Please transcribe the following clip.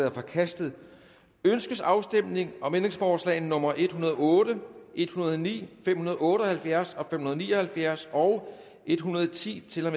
er forkastet ønskes afstemning om ændringsforslag nummer en hundrede og otte og en hundrede og ni fem hundrede og otte og halvfjerds og fem hundrede og ni og halvfjerds og en hundrede og ti til